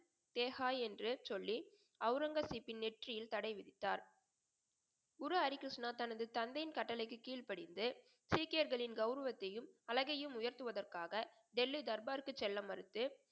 தேஹா என்று சொல்லி அவுரங்கசீப்பின் நெற்றியில் தடைவிதித்தார். குரு ஹரி கிருஷ்ணா தனது தந்தையின் கட்டளைக்கு கீழ் படிந்து சீக்கியர்களின் கௌரவத்தையும் அழகையும் உயர்த்துவதற்காக டெல்லி தர்பாருக்கு செல்ல மறுத்து,